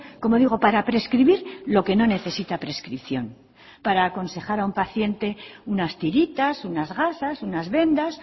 como digo para prescribir lo que no necesita prescripción para aconsejar a un paciente unas tiritas unas gasas unas vendas